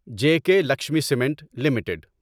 J K Lakshmi cement limited